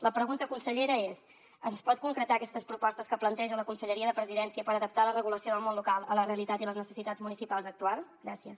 la pregunta consellera és ens pot concretar aquestes propostes que planteja la conselleria de la presidència per adaptar la regulació del món local a la realitat i les necessitats municipals actuals gràcies